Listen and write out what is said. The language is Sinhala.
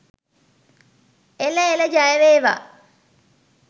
එළ එළ ජය වේවා!.